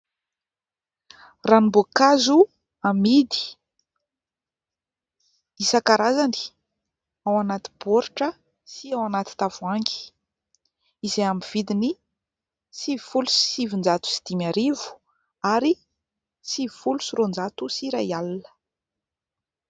Ranom-boankazo amidy. Isan-karazany ao anaty baoritra sy ao anaty tavohangy, izay amin'ny vidiny sivifolo sy sivinjato sy dimy arivo ary sivifolo sy roanjato sy iray alina.